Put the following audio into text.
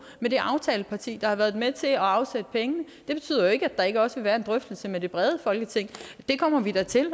med det aftaleparti der har været med til at afsætte pengene det betyder jo ikke at der ikke også vil være en drøftelse med det brede folketing det kommer vi da til